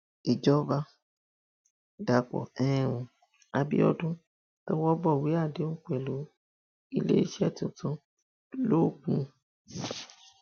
ìjọba dàpọ um àbíọdún tọwọ bọwé àdéhùn pẹlú iléeṣẹ tuntun logun